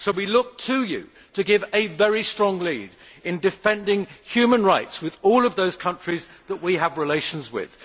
So we look to you to give a very strong lead in defending human rights with all those countries that we have relations with.